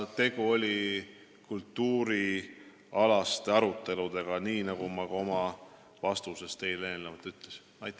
Tegu oli kultuurialaste aruteludega, nii nagu ma ka oma vastuses teile eelnevalt ütlesin.